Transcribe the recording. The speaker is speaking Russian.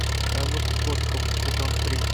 казус кукоцкого сезон три